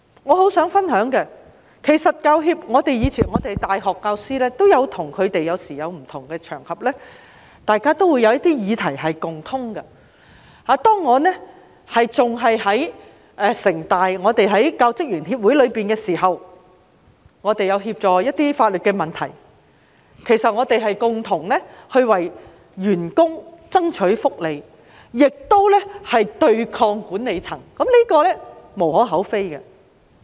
我想分享一下，以往在不同場合，大學教師和教協在某些議題上是共通的，當我仍然在香港城市大學的教職員協會時，我們也曾協助處理一些法律問題，共同為員工爭取福利，對抗管理層，這是無可厚非的。